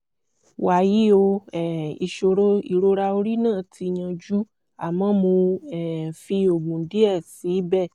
wàyí o um ìṣòro ìrora orí náà ti yanjú àmọ́ mo um fi oògùn díẹ̀ sí ibẹ̀